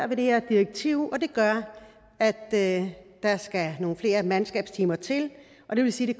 det her direktiv det gør at der skal nogle flere mandskabstimer til og det vil sige at